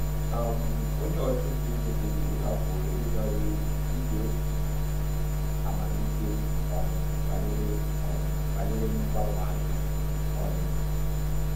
um Onye ọchụnta ego kpebiri ịhapụ ohere bara uru n’ihi obi amamikpe um banyere um banyere mgbanwe ahịa. um